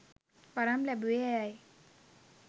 වරම් ලැබුවේ ඇයයි